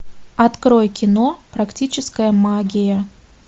открой кино практическая магия